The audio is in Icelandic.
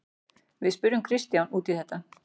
Við spurðum Kristján út í það.